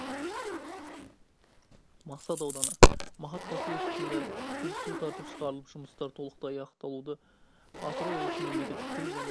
мақсат ауданы мақат поселкесінде куб су тартып шығарылып жұмыстар толықтай аяқталды атырау облысының мемлекеттік тіл және